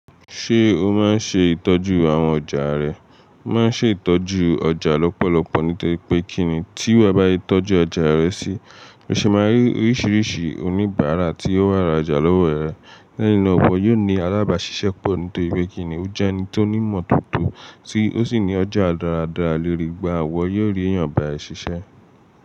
Ṣé o máa ń ṣe ìtọ́jú àwọn ọjà rẹ? Mo Máa ṣe ìtọ́jú ọjà lọ́pọ̀lọpọ̀ ní tó ri pé kí ni tí ru e bá yí tọ́jú ọjà rẹ si, o ṣe máa rí oríṣiríṣi oníbàárà tí ó wà ra ọjà lọ́wọ́ rẹ. Lẹ́yìn náà ọbọ yóò ní alábàáṣiṣẹ́ pọ̀ ní tó pé kí ni o jẹ́ ẹni tó ní ìmọ̀ toto tí ó sì ní ọjà dáradára léèri gbà ọwọ yóò rí èèyàn bá ẹ ṣiṣẹ́.